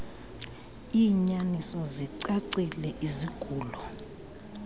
iinyaniso zicacile izigulo